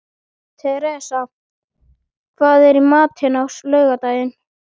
Theresa, hvað er í matinn á laugardaginn?